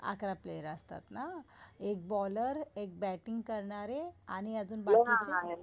अकरा प्लेअर असतात ना. एक बॉलर, एक बॅटिंग करणारे आणि अजून बाकीचे?